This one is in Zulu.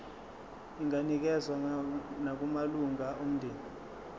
inganikezswa nakumalunga omndeni